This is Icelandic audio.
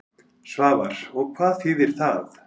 Svavar: Og hvað þýðir það?